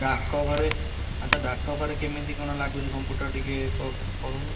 ଡାକଘରେ ଆଚ୍ଛା, ଡାକଘରେ କେମିତି କ'ଣ ଲାଗୁଛି computer ଟିକେ କହୁନୁ?